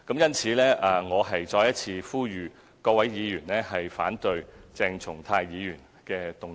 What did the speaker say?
因此，我再一次呼籲各位議員反對鄭松泰議員的議案。